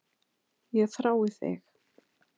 Ég þrái þig.